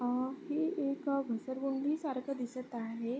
अ ही एक घसरगुंडी सारख दिसत आहे.